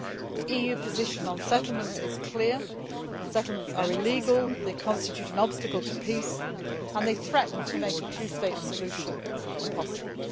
The EU position on settlements is clear settlements are illegal, they constitute an obstacle to peace, and they threaten to make a two state solution impossible.